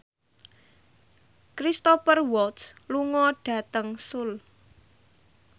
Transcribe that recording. Cristhoper Waltz lunga dhateng Seoul